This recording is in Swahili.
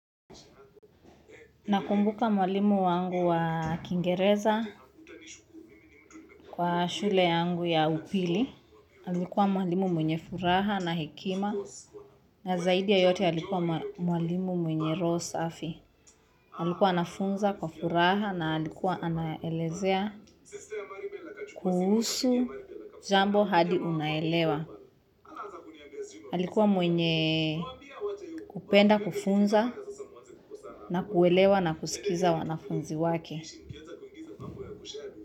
Nakumbuka mwalimu wangu wa Kingereza kwa shule yangu ya upili. Alikuwa mwalimu mwenye furaha na hekima. Na zaidi ya yote alikuwa mwalimu mwenye roho safi. Alikuwa anafunza kwa furaha na alikuwa anaelezea kuhusu jambo hadi unaelewa. Alikuwa mwenye kupenda kufunza na kuelewa na kusikiza wanafunzi wake.